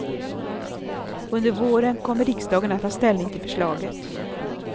Under våren kommer riksdagen att ta ställning till förslaget.